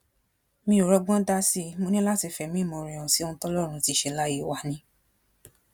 mi ò rọgbọn dá sí i mo ní láti fẹmí ìmoore hàn sí ohun tọlọrun ti ṣe láyé wa ni